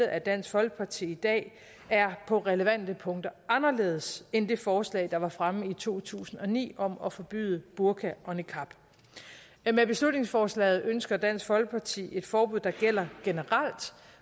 af dansk folkeparti i dag er på relevante punkter anderledes end det forslag der var fremme i to tusind og ni om at forbyde burka og niqab med beslutningsforslaget ønsker dansk folkeparti et forbud der gælder generelt